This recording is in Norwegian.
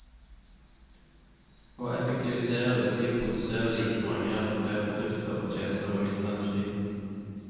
Å effektivisere vil si å produsere like mange eller flere produkter og tjenester med mindre energi.